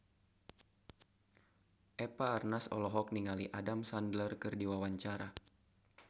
Eva Arnaz olohok ningali Adam Sandler keur diwawancara